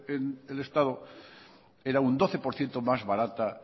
del estado era un doce por ciento más barata